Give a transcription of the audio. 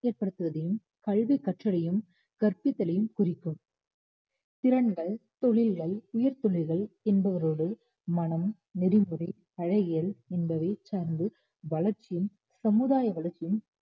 ஏற்படுத்துவதையும் கல்வி கற்றலையும் கற்பித்தலையும் குறிக்கும் திறன்கள் தொழில்கள் உயிர்த்துளிகள் என்பவரோடு மனம் நெறிமுறை அழகியல் என்பதை சார்ந்து வளர்ச்சியும் சமுதாய வளர்ச்சியும்